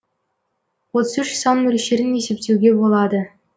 отыз үш сан мөлшерін есептеуге болады